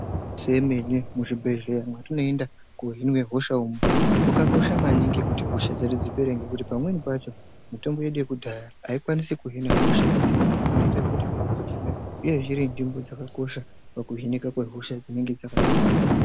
Zvemene muzvibhedhleya mwatinoenda kohinwe hosha umwo mwakakosha maningi kuti hosha dzedu dzipere nekuti pamweni pachona mitombo yedu yekudhaya aikwanisi kuhina hosha idzi inoita kuti iye ine nzvimbo dzakakosha pakuhinika kwehosha dzinenge dzakati bata.